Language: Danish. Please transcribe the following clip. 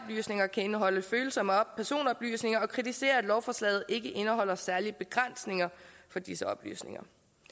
kan indeholde følsomme personoplysninger og kritiserer at lovforslaget ikke indeholder særlige begrænsninger for disse oplysninger